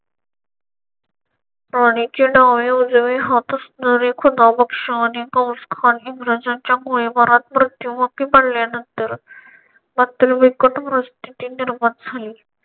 राणीचे डावे-उजवे हातच इंग्रजांच्या मुळे वरहात मृत्युमुखी पडल्यानंतर अत्यंत बिकट परिस्थिती निर्माण झाली.